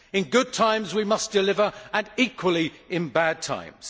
In good times we must deliver and equally in bad times.